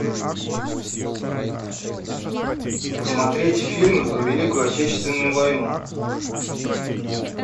посмотреть фильмы про великую отечественную войну